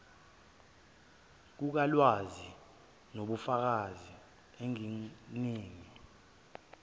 kukalwazi ngobufakazi engininike